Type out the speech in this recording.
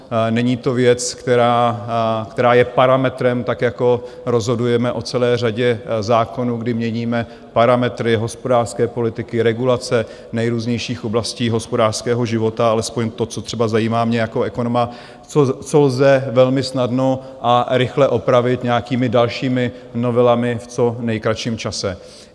Není to věc, která je parametrem, tak jako rozhodujeme o celé řadě zákonů, kdy měníme parametry hospodářské politiky, regulace nejrůznějších oblastí hospodářského života, alespoň to, co třeba zajímá mě jako ekonoma, co lze velmi snadno a rychle opravit nějakými dalšími novelami v co nejkratším čase.